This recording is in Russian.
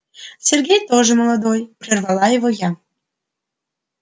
сергей тоже молодой прервала его я